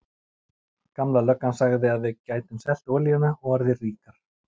Gamla löggan sagði að við gætum selt olíuna og orðið ríkar.